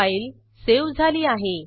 file save झाली आहे